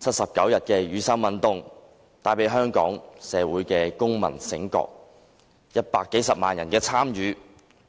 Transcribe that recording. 七十九天的雨傘運動帶來香港社會的公民覺醒 ，100 多萬人的參與，